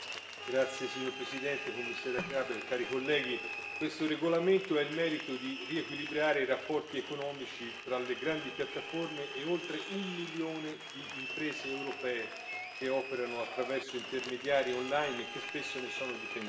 Signor Presidente, onorevoli colleghi, Commissaria Gabriel, questo regolamento ha il merito di riequilibrare i rapporti economici tra le grandi piattaforme e oltre un milione di imprese europee che operano attraverso intermediari online che spesso ne sono dipendenti.